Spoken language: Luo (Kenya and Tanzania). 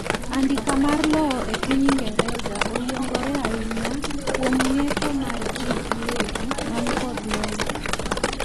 andika mar lowo e piny ingereza o yiengore ainya kuom ng'eto mar jii giwegi man kod lowo